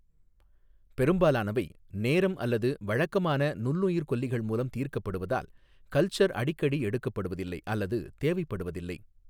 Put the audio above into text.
பெரும்பாலானவை, நேரம் அல்லது வழக்கமான நுண்ணுயிர்க்கொல்லிகள் மூலம் தீர்க்கப்படுவதால், கல்ச்சர் அடிக்கடி எடுக்கப்படுவதில்லை அல்லது தேவைப்படுவதில்லை.